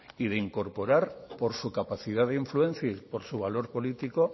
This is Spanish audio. y de incorporar por su capacidad de influencia y por su valor político